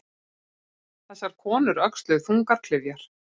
Þessar konur öxluðu þungar klyfjar.